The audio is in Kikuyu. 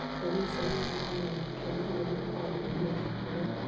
Ndariri cia mũrimũ wa gwĩthikĩra nĩ hamwe na kwaga kwĩrirĩria kũrĩa,